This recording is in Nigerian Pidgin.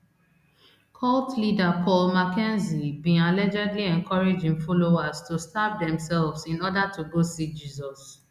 cult leader paul mackenzie bin allegedly encourage im followers to starve demsefs in order to go see jesus